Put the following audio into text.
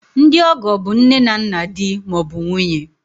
Ndị ọgọ bụ nne na nna di ma ọ bụ nwunye